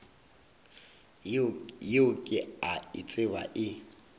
yeo ke a tseba e